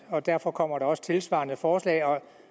og derfor kommer der også tilsvarende forslag